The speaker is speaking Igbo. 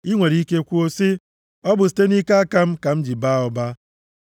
I nwere ike kwuo sị, “Ọ bụ site nʼike aka m ka m ji baa ụba.”